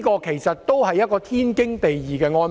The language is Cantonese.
其實，這也是天經地義的安排。